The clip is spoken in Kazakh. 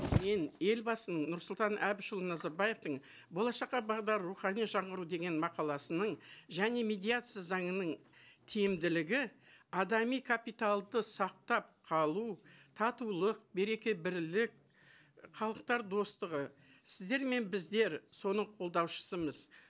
мен елбасының нұрсұлтан әбішұлы назарбаевтың болашаққа бағдар рухани жаңғыру деген мақаласының және медиация заңының тиімділігі адами капиталды сақтап қалу татулық береке бірлік халықтар достығы сіздер мен біздер соның қолдаушысымыз